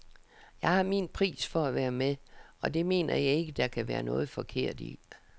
Jeg har min pris for at være med, og det mener jeg ikke, der kan være noget forkert i.